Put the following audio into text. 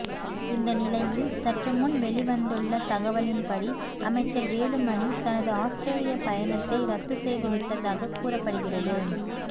இந்த நிலையில் சற்றுமுன் வெளிவந்துள்ள தகவலின்படி அமைச்சர் வேலுமணி தனது ஆஸ்திரேலிய பயணத்தை ரத்து செய்துவிட்டதாக கூறப்படுகிறது